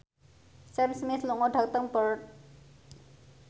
Sam Smith lunga dhateng Perth